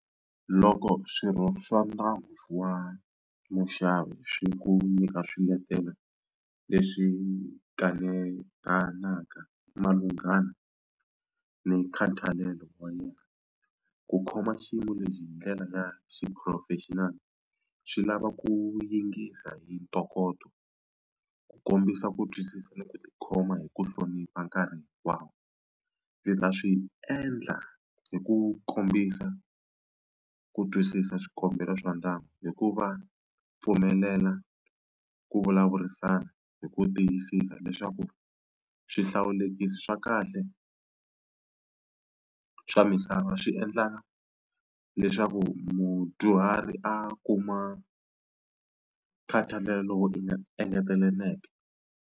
Loko swirho swa ndyangu wa muxavi swi ku nyika swiletelo leswi kanetanaka malunghana ni nkhathalelo wa yena ku khoma xiyimo lexi hi ndlela ya xiphurofexinali swi lava ku yingisa hi ntokoto ku kombisa ku twisisa ni ku tikhoma hi ku hlonipha nkarhi wa. Ndzi ta swi endla hi ku kombisa ku twisisa swikombelo swa ndyangu hi ku va pfumelela ku vulavurisana hi ku tiyisisa leswaku swihlawulekisi swa kahle swa misava swi endla leswaku mudyuhari a kuma nkhathalelo wo engeteleleke.